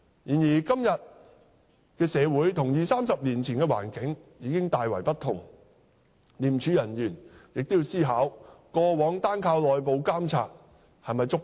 然而，現今社會與二三十年前的環境已大為不同，廉署人員亦要思考過往單靠內部監察是否足夠？